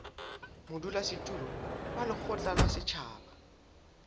modulasetulo wa lekgotla la setjhaba